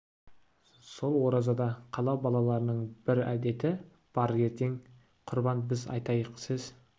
сол оразада қала балаларының бір әдеті бар ертең құрбан біз айтайық сіз